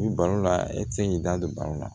Ni balo la e tɛ se k'i da don balo la